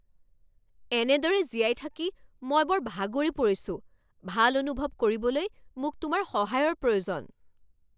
এনেদৰে জীয়াই থাকি মই বৰ ভাগৰি পৰিছোঁ! ভাল অনুভৱ কৰিবলৈ মোক তোমাৰ সহায়ৰ প্ৰয়োজন!